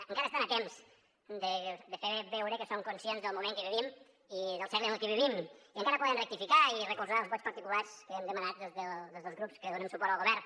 encara estan a temps de fer veure que són conscients del moment que vivim i del segle en el que vivim i encara poden rectificar i recolzar els vots particulars que hem demanat des dels grups que donem suport al govern